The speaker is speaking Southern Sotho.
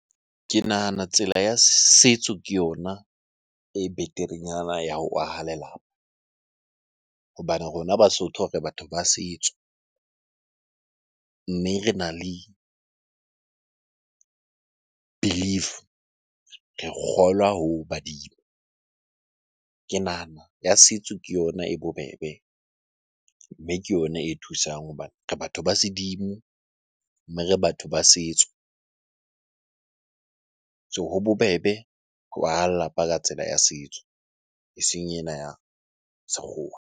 Ke nahana tsela ya setso ke yona e beterenyana ya ho aha lelapa. Hobane rona Basotho re batho ba setso mme rena le belief, re kgolwa ho badimo. Ke nahana ya setso ke yona e bobebe, mme ke yona e thusang hobane re batho ba sedimo mme re batho ba setso. So ho bobebe ho aha lelapa ka tsela ya setso, eseng ena ya sekgowa.